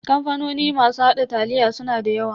Kamfanoni masu haɗa taliya suna da yawa.